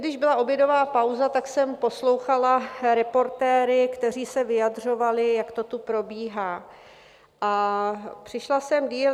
Když byla obědová pauza, tak jsem poslouchala reportéry, kteří se vyjadřovali, jak to tu probíhá, a přišla jsem déle.